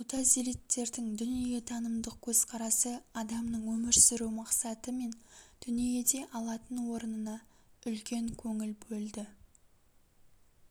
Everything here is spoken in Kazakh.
мутазилиттердің дүниетанымдық көзқарасы адамның өмір сүру мақсаты мен дүниеде алатын орнына үлкен көңіл бөлді